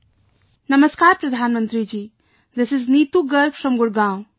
"Namaskar, Pradhan Mantri ji, this is Neetu Garg from Gurgaon